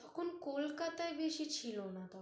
তখন কলকাতায় বেশি ছিল না